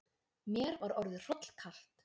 Mér var orðið hrollkalt.